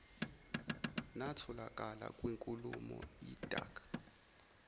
natholakala kwinkulumo idac